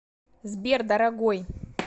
сбер дорогой